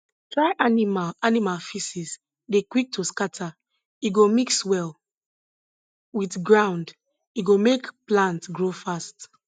dry animal animal feces dey quick to scatter e go mix well with ground e go make plant grow fast